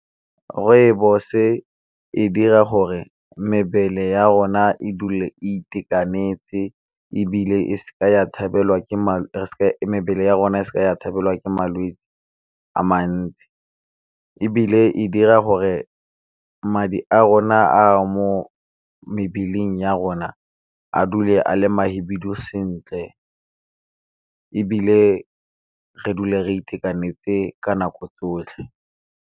Rooibos e dira gore mebele ya rona e dule e itekanetse, ebile mebele ya rona e seke ya tshabelwa ke malwetsi a mantsi. Ebile e dira gore madi a rona a mo mebeleng ya rona a dule a le ma hibidu sentle, ebile re dule re itekanetse ka nako tsotlhe.